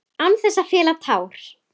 Án þess að fella tár.